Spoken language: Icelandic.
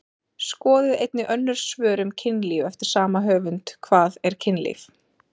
Skoðið einnig önnur svör um kynlíf eftir sama höfund: Hvað er kynlíf?